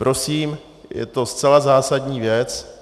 Prosím, je to zcela zásadní věc.